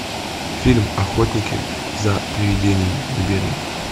фильм охотники за приведениями набери